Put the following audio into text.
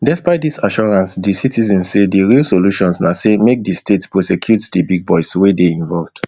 despite dis assurance di citizens say di real solution na say make di state prosecute di big boys wey dey involved